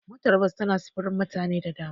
Motar bas tana sufurin mutane da dama.